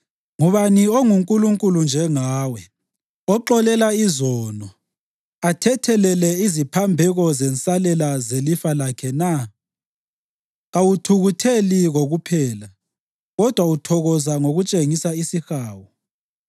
Ngubani onguNkulunkulu njengawe, oxolela izono athethelele iziphambeko zensalela zelifa lakhe na? Kawuthukutheli kokuphela kodwa uthokoza ngokutshengisa isihawu.